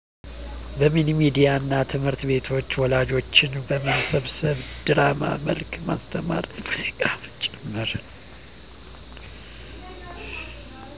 በሚኒሚዲያ እና ትምህርትቤቶች ወላጆችን በመመብሰብ በድራማ መልክ ማስተማር በሙዚቃም ጭምር